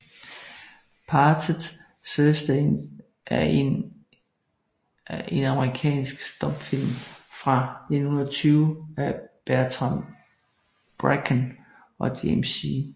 Parted Curtains er en amerikansk stumfilm fra 1920 af Bertram Bracken og James C